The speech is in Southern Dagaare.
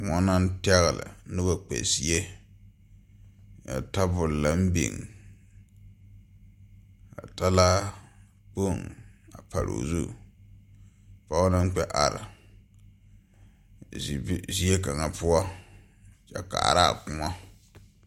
koɔ naŋ tɛŋle zie zaa a tabol naŋ biŋ ka laakpoŋ a pare o zu pɔge naŋ kpɛ are zie kaŋa poɔ a kaaraa koɔ.